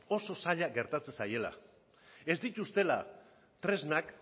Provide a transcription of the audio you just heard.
oso zaila gertatzen zaiela ez dituztela tresnak